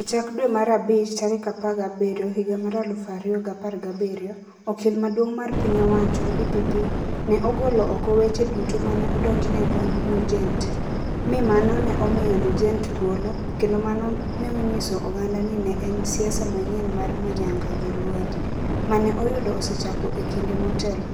E chak dwe mar abich 17, 2017, okil maduong ' mar piny owacho (DPP) ne ogolo oko weche duto ma ne odonjnego Nugent, mi mano ne omiyo Nugent thuolo, kendo mano ne onyiso oganda ni ne en siasa manyien mar Manyanga jolueny, ma ne oyudo osechako e kinde motelo,